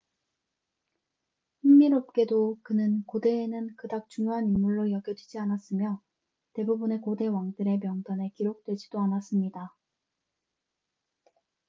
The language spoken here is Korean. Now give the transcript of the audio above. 흥미롭게도 그는 고대에는 그닥 중요한 인물로 여겨지지 않았으며 대부분의 고대 왕들의 명단에 기록되지도 않았습니다